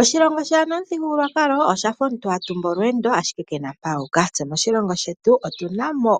Oshilongo shaana omuthigululwakalo oshafa omuntu hatumbu olweendo ashike kena mpa ahuka. Tse moshilongo shetu otuna mo